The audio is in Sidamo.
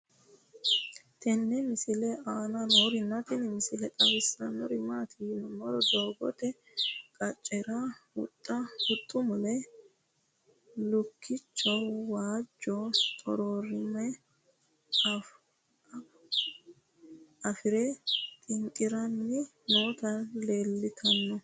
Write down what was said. tenne misile aana noorina tini misile xawissannori maati yinummoro doogotte qaccera huxxu mule lukkichcho waajjo xoxoraamme afuurre xinqidhanni nootti leelittanno